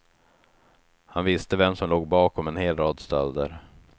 Han visste vem som låg bakom en hel rad stölder.